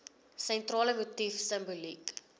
sentrale motief simboliek